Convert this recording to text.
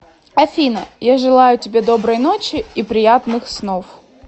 афина я желаю тебе доброй ночи и приятных снов